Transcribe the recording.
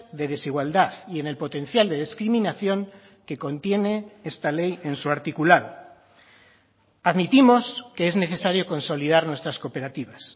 de desigualdad y en el potencial de discriminación que contiene esta ley en su articulado admitimos que es necesario consolidar nuestras cooperativas